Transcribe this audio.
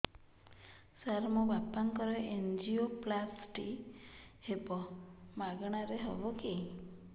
ସାର ମୋର ବାପାଙ୍କର ଏନଜିଓପ୍ଳାସଟି ହେବ ମାଗଣା ରେ ହେବ କି